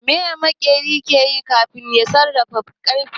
Meye maƙeri ke yi kafin ya sarrafa ƙarfe